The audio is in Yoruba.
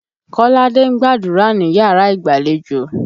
Kọ́ládé ń gbàdúrà níyàrá ìgbàlejò.